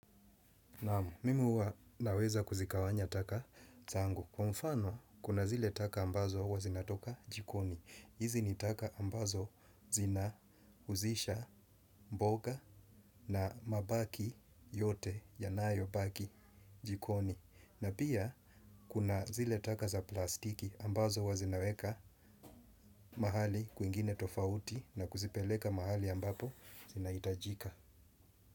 Naam, mimi huwa naweza kuzigawanya taka zangu. Kwa mfano, kuna zile taka ambazo huwa zinatoka jikoni. Hizi ni taka ambazo zina husisha mboga na mabaki yote, yanayobaki jikoni. Na pia, kuna zile taka za plastiki ambazo huwa zinaweka mahali kwingine tofauti na kuzipeleka mahali ambapo zinahitajika.